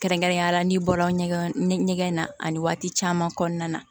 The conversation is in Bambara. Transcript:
Kɛrɛnkɛrɛnnenya la n'i bɔra ɲɛgɛn ɲɛgɛn na ani waati caman kɔnɔna na